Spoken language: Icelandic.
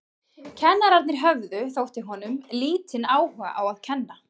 Kennararnir höfðu, þótti honum, lítinn áhuga á að kenna.